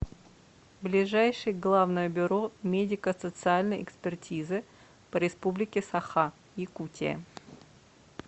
ближайший главное бюро медико социальной экспертизы по республике саха якутия